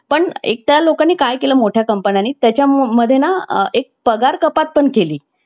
ते ज्या पद्धतीने ते नाराज झालेले किंवा दिवसभर boar झालेले असतात अशा व्यक्ती मग एक आनंदी आणि उत्साही त्यांना अं मन एकदम प्रसन्न होऊन जातं